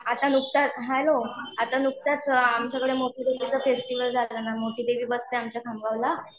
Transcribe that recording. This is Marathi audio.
आ नुकताच हॅलो आता नुकताच आमच्याकडे चा फेस्टिव्हल झाला ना मोठी टीव्ही बसते आमच्या खामगावला.